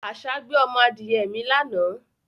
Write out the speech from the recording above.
Àṣá gbé ọmọ adìye mi lánàá